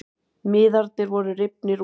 Miðarnir voru rifnir út